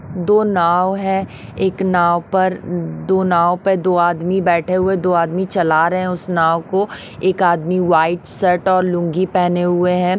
दो नाव है एक नाव पर दो नाव पे दो आदमी बैठे हुए दो आदमी चला रहे है उस नाव को एक आदमी व्हाइट शर्ट और लुंगी पेहने हुए है।